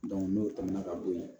n'o tɛmɛna ka bo yen